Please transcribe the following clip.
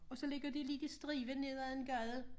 Og så ligger de lidt i stribe nd af en gade